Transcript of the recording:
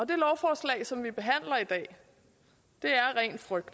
det lovforslag som vi behandler i dag er ren frygt